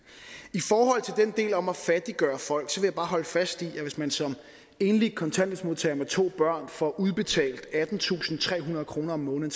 i forhold til den del om at fattiggøre folk vil jeg bare holde fast i at hvis man som enlig kontanthjælpsmodtager med to børn får udbetalt attentusinde og trehundrede kroner om måneden